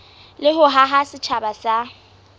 le ho haha setjhaba sa